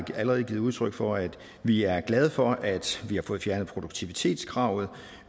allerede givet udtryk for at vi er glade for at vi har fået fjernet produktivitetskravet